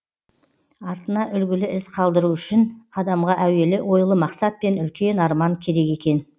артына үлгілі із қалдыру үшін адамға әуелі ойлы мақсат пен үлкен арман керек екен